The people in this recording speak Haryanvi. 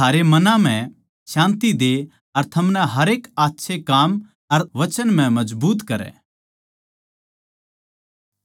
थारे मनां म्ह शान्ति दे अर थमनै हरेक आच्छे काम अर वचन म्ह मजबूत करै